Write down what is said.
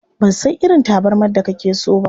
Ban san irin tabarmar da kake so ba.